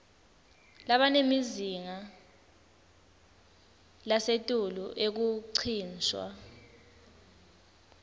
labanemazinga lasetulu ekuncishwa